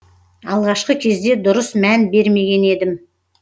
алғашқы кезде дұрыс мән бермеген едім